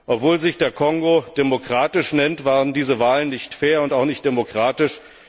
Obwohl sich der Kongo demokratisch nennt, waren diese Wahlen nicht fair und auch nicht demokratisch.